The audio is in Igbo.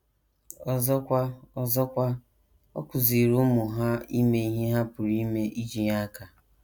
Ọzọkwa, Ọzọkwa, ọ kụziiri ụmụ ha ime ihe ha pụrụ ime iji nye aka.